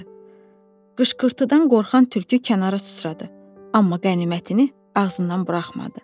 Qışqırtıdan qorxan tülkü kənara sıçradı, amma qənimətini ağzından buraxmadı.